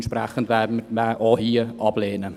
Entsprechend werden wir auch hier ablehnen.